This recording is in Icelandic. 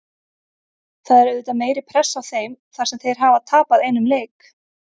Það er auðvitað meiri pressa á þeim þar sem þeir hafa tapað einum leik.